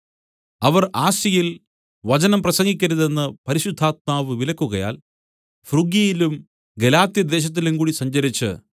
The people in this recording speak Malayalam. അവർ ആസ്യയിൽ വചനം പ്രസംഗിക്കരുതെന്ന് പരിശുദ്ധാത്മാവ് വിലക്കുകയാൽ ഫ്രുഗ്യയിലും ഗലാത്യദേശത്തിലും കൂടി സഞ്ചരിച്ച്